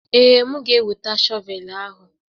Ee, m ga-eweta shọvel ahụ.